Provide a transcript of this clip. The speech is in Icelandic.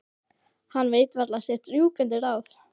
Hann veit varla sitt rjúkandi ráð.